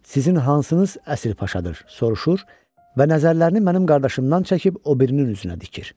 Sizin hansınız əsl paşadır, soruşur və nəzərlərini mənim qardaşımdan çəkib o birinin üzünə dikir.